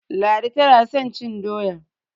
Ladi tana son cin doya.